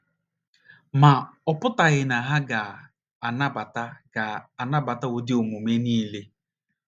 Ma, ọ pụtaghị na ha ga - anabata ga - anabata ụdị omume niile.